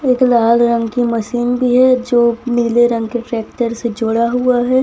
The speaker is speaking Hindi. एक लाल रंग की मशीन भी है जो नीले रंग के ट्रैक्टर से जोड़ा हुआ है।